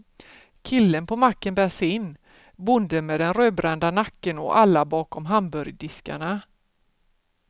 Killen på macken bär sin, bonden med den rödbrända nacken och alla bakom hamburgardiskarna.